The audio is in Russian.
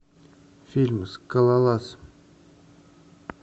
фильм скалолаз